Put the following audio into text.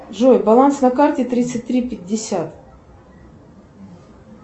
джой баланс на карте тридцать три пятьдесят